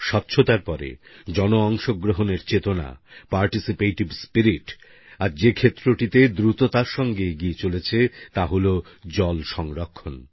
স্বচ্ছতার পরে জন অংশ গ্রহণের চেতনা পার্টিসিপেটিভ স্পিরিট আজ যে ক্ষেত্রটিতে দ্রুততার সাথে এগিয়ে চলেছে তা হল জল সংরক্ষণ